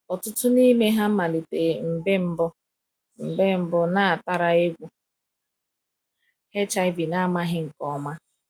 "Ọtụtụ n’ime ha malite mgbe mbụ mgbe mbụ nataara egwu HIV na amaghị nke ọma."